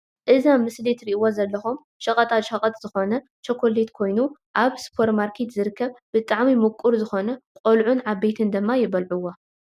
እዚ ኣብ ምስሊ እትርእዎ ዘለኩም ሸቀጣ ሸቀጥ ዝኮነ ቾኬለት ኮይኑ ኣብ ስፖርማርኬት ዝርከብ ብጣዕሚ ምቁር ዝኮነ ቆልዑን ዓበይትን ድማ ይበልዕዎ።